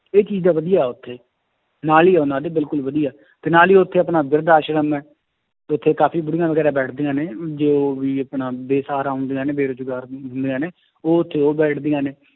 ਇਹ ਚੀਜ਼ ਦਾ ਵਧੀਆ ਉੱਥੇ ਤੇ ਨਾਲ ਹੀ ਉਹਨਾਂ ਦੀ ਬਿਲਕੁਲ ਵਧੀਆ, ਤੇ ਨਾਲ ਹੀ ਉੱਥੇ ਆਪਣਾ ਬਿਰਦ ਆਸ਼ਰਮ ਹੈ, ਉੱਥੇ ਕਾਫ਼ੀ ਬੁੜੀਆਂ ਵਗ਼ੈਰਾ ਬੈਠਦੀਆਂ ਨੇ ਜੋ ਵੀ ਆਪਣਾ ਬੇਸ਼ਹਾਰਾ ਹੁੰਦੀਆਂ ਨੇ ਬੇਰੁਜ਼ਗਾਰ ਹੁੰਦੀਆਂ ਨੇ ਉਹ ਉੱਥੇ ਉਹ ਬੈਠਦੀਆਂ ਨੇ